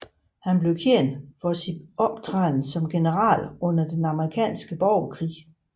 Han blev kendt for sin optræden som general under den amerikanske borgerkrig